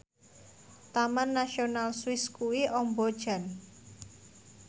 Taman Nasional Swiss kuwi amba jan